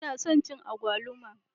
Ina son cin agwaluma.